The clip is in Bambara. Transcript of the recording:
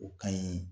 O ka ɲi